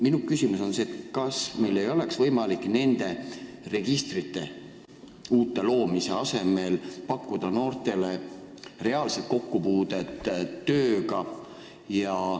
Minu küsimus aga on selline: kas meil ei oleks võimalik nende uute registrite loomise asemel pakkuda noortele reaalset kokkupuudet tööga?